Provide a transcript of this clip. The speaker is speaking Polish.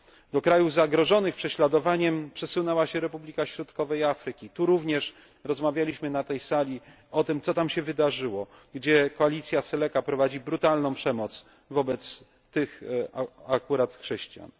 Do krajów zagrożonych prześladowaniem przesunęła się Republika Środkowej Afryki, tu również rozmawialiśmy na tej sali o tym co tam się wydarzyło, gdzie koalicja Seleka prowadzi brutalną przemoc wobec chrześcijan.